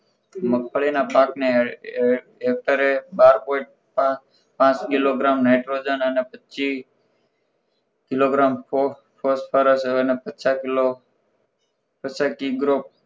મગફળીના પાકને હેકટરે બાર point પાંચ કિલોગ્રામ નાઇટ્રોજન અને પચીસ કિલોગ્રામ ફોસ્ફરસ અને પચાસ કિલો પચાસ કીગરો